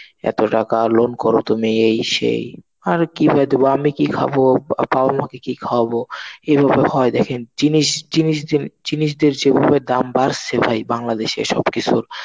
এত টাকা loan করো তুমি এই সেই আর কি ভেবে দেব? আমি কি খাবো? বাবা মাকে কি খাওয়াবো? এইভাবে হয় দেখেন. জিনিস, জিনিস, জিনিস দিয়ে, যেভাবে দাম বাড়ছে ভাই বাংলাদেশে সবকিছুর.